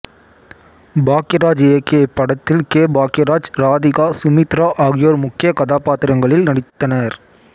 பாக்யராஜ் இயக்கிய இப்படத்தில் கே பாக்யராஜ் ராதிகா சுமித்ரா ஆகியோர் முக்கிய கதாபாத்திரங்களில் நடித்தனர்